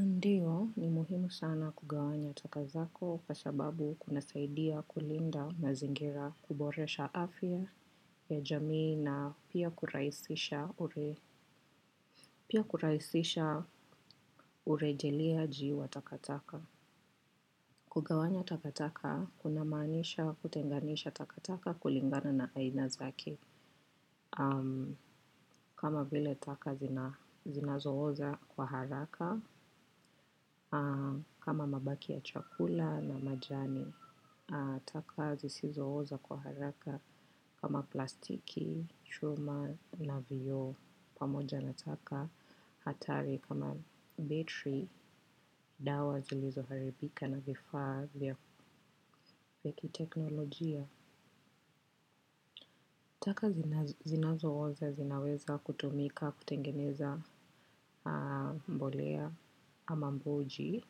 Ndio, ni muhimu sana kugawanya taka zako kwa sababu kuna saidia kulinda mazingira, kuboresha afya ya jamii na pia kurahisisha urejeliaji wa takataka. Kugawanya takataka, kuna maanisha, kutenganisha takataka kulingana na aina zake. Kama vile taka zinazo oza kwa haraka. Kama mabaki ya chakula na majani. Taka zisizo oza kwa haraka. Kama plastiki, chuma na vioo. Pamoja na taka hatari kama battery. Dawa zilizo haribika na vifaa vya kiteknolojia. Taka zinazo oza zinaweza kutumika, kutengeneza mbolea ama mboji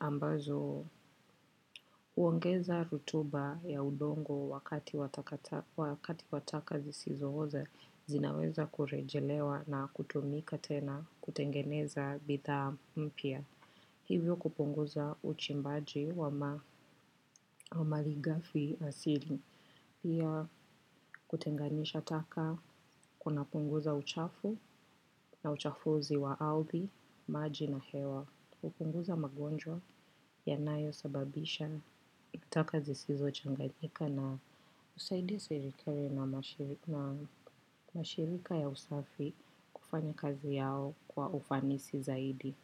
ambazo huongeza rutuba ya udongo wakati wa taka zisizo oza zinaweza kurejelewa na kutumika tena, kutengeneza bidhaa mpya. Hivyo kupunguza uchimbaji wa mali ghafi asili. Pia kutenganisha taka kuna punguza uchafu na uchafuzi wa arthi, maji na hewa. Kupunguza magonjwa yanayo sababishwa na taka zisizo changanyika na husaidia serikali na mashirika ya usafi kufanya kazi yao kwa ufanisi zaidi.